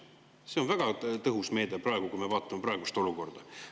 See on väga tõhus meede, praeguses olukorras.